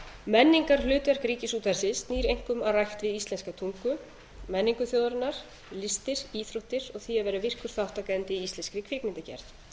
menningarhlutverk ríkisútvarpsins snýr einkum að rækt við íslenska tungu menningu þjóðarinnar listir íþróttir og því að vera virkur þátttakandi í íslenskri kvikmyndagerð hér